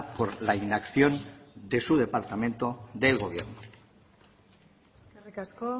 por la inacción de su departamento del gobierno eskerrik asko